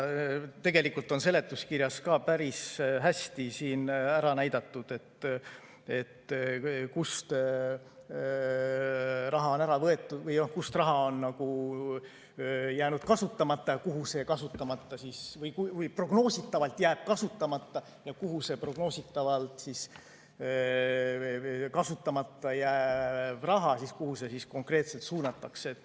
Tegelikult on seletuskirjas ka päris hästi näidatud, kust raha on ära võetud, kus raha on jäänud kasutamata või kus see prognoositavalt jääb kasutamata ja kuhu see prognoositavalt kasutamata jääv raha siis konkreetselt suunatakse.